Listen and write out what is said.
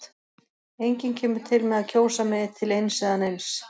Enginn kemur til með að kjósa mig til eins eða neins.